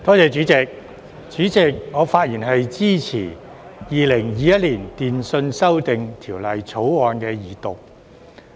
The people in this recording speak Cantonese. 主席，我發言支持《2021年電訊條例草案》的二讀。